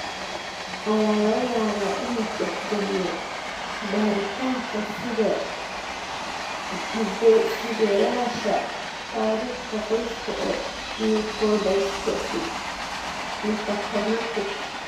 Ayaa laga yaabaa inuu tixgeliyo baaritaanka side hidde-sideyaasha taariikhda qoyska ee leukodystrophy metachromatic?